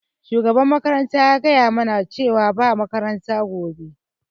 Shugaban makaranta ya gaya mana cewar ba makaranta gobe.